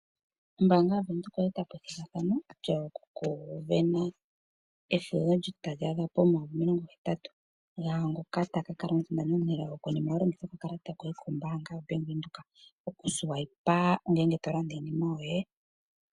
Ombaanga ya Venduka oya eta po ethigathano lyoku sindana efudho tali adha pomayovi omilongo hetatu. Lyaangoka ta ka kala omusindani omunelago konima wa longitha okakalata ko Bank Windhoek okuswipa, ngele to landa iinima yoye.